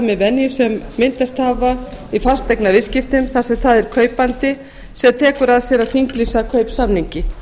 við venjur sem myndast hafa í fasteignaviðskiptum þar sem það er kaupandi sem tekur að sér að þinglýsa kaupsamningi